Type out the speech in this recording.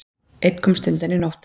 Einn komst undan í nótt.